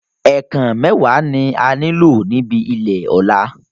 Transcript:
Ẹ̀ẹ̀kàn mẹ́wàá ni a nílò níbi ilè Ọ̀la